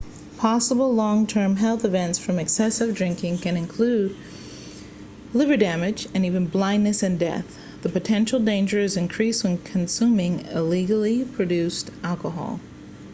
possible long term health events from excessive drinking can include liver damage and even blindness and death the potential danger is increased when consuming illegally produced alcohol